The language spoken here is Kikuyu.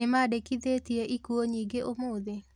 Nĩmandĩkithĩtie ikuũ nyingĩ mũno ũmũthi?